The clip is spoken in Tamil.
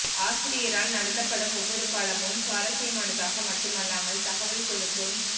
ஆசிரியரால் நடத்தப்படும் ஒவ்வொரு பாடமும் சுவாரஸ்யமானதாக மட்டுமல்லாமல் தகவல் கொடுக்கும்